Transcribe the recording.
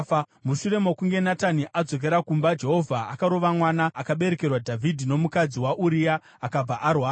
Mushure mokunge Natani adzokera kumba, Jehovha akarova mwana akaberekerwa Dhavhidhi nomukadzi waUria, akabva arwara.